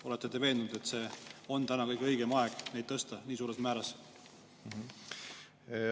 Olete te veendunud, et praegu on kõige õigem aeg neid tõsta nii suures määras?